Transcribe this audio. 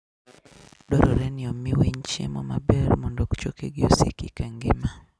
Dwarore ni omi winy chiemo maber mondo chokegi osiki ka ngima.